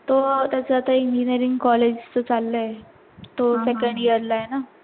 तो आता त्याच engineering college च चाल्लय तो second year ला आहे ना